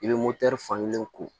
I bɛ fankelen ko